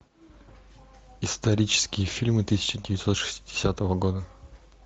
исторические фильмы тысяча девятьсот шестидесятого года